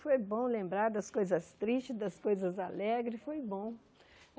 Foi bom lembrar das coisas tristes, das coisas alegres, foi bom.